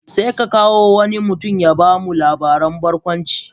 Sai ya kawo wani mutum ya ba mu labarin barkwanci.